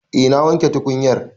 Eh na wanke tukunyar